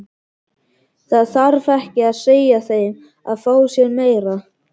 Það þarf ekki að segja þeim að fá sér meira.